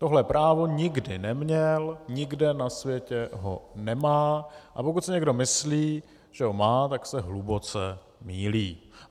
Tohle právo nikdy neměl, nikde na světě ho nemá, a pokud si někdo myslí, že ho má, tak se hluboce mýlí.